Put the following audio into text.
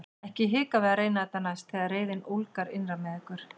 Ekki hika við að reyna þetta næst þegar reiðin ólgar innra með ykkur!